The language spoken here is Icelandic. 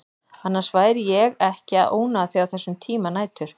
Annars væri ég ekki að ónáða þig á þessum tíma nætur.